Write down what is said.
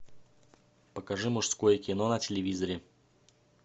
покажи мужское кино на телевизоре